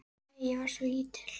Nei, ég var svo lítil.